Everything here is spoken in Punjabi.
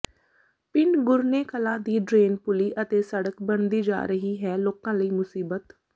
ਪਿੰਡ ਗੁਰਨੇ ਕਲਾ ਦੀ ਡਰੇਨ ਪੁਲੀ ਅਤੇ ਸੜਕ ਬਣਦੀ ਜਾ ਰਹੀ ਹੈ ਲੋਕਾਂ ਲਈ ਮੁਸੀਬਤ